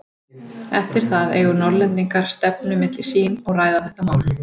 Eftir það eigu Norðlendingar stefnu milli sín og ræða þetta mál.